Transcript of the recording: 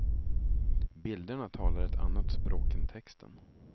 Bilderna talar ett annat språk än texten.